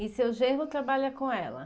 E seu genro trabalha com ela?